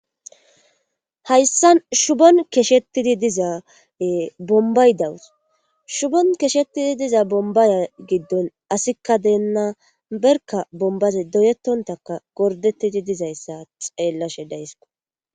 Hayssan shubon keshettidi dizaae bombay dawus shubon keshettidi diza bombaya giddon asikka deenna berka bombaze doyettontaka gordetidi dizayssa xeellashe daysiko.